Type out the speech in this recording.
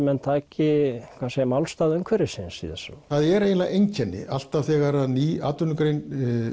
menn taki málstað umhverfisins í þessu það er eiginlega einkenni alltaf þegar ný atvinnugrein